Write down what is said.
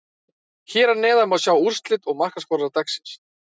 Hér að neðan má sjá úrslit og markaskorara dagsins: